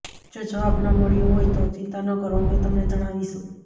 જો જવાબ ન મળ્યો હોય તો ચિંતા ન કરો અમે તમને જણાવીશું